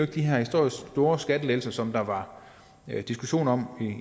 de her historisk store skattelettelser som der var diskussioner om